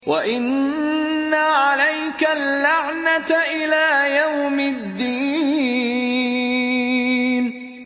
وَإِنَّ عَلَيْكَ اللَّعْنَةَ إِلَىٰ يَوْمِ الدِّينِ